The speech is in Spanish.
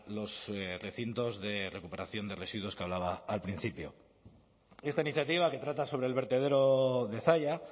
los recintos de recuperación de residuos que hablaba al principio esta iniciativa que trata sobre el vertedero de zalla